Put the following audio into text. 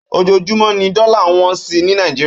Ójójúmò ni dòlá n wòn si ni Nàijiriá